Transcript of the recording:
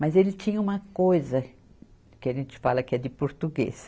Mas ele tinha uma coisa que a gente fala que é de português.